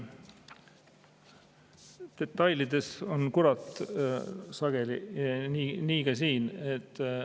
Detailides on kurat sageli ja nii ka siin.